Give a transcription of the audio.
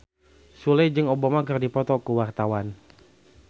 Sule jeung Obama keur dipoto ku wartawan